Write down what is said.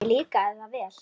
Mér líkaði það vel.